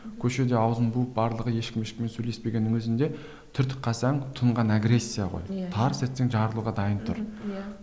көшеде аузын буып барлығы ешкім ешкіммен сөйлеспегеннің өзінде түртіп қалсаң тұнған агрессия ғой иә тарс етсең жарылуға дайын тұр иә